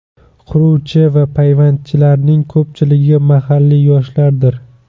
Quruvchi va payvandchilarning ko‘pchiligi mahalliy yoshlardir.